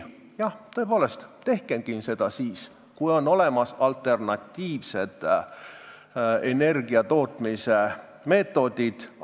Jah, tõepoolest, tehkemgi seda siis, kui on olemas alternatiivsed energiatootmise meetodid.